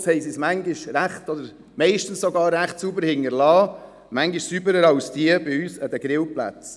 Und am Ende hinterliessen sie den Platz manchmal, oder sogar meistens, recht sauber, manchmal sogar sauberer als bei uns die Grillplätze.